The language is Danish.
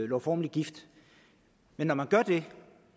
lovformeligt gift men når man gør det